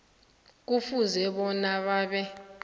kufuze bona babe